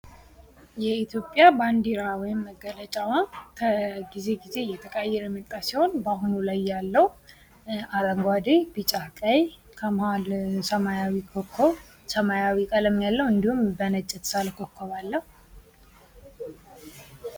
የኢትዮጵያ ባንዲራ ወይም መገለጫ ከጊዜ እየተቀያየረ የመጣ ሲሆን በአሁኑ ላይ ያለው አረንጓዴ ቢጫ ቀይ ከመሐል ሰማያዊ ኮኮብ ያለው እንዲሁም በነጭ የተሳለ ኮኮብ አለው